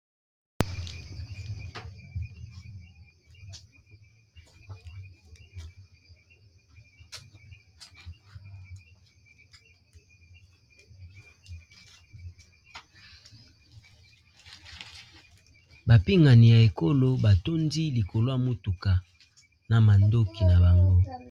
bapingani ya ekolo batondi likolwa motuka na mandoki na bangoi